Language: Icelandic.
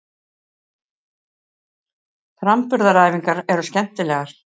Framburðaræfingarnar eru skemmtilegar.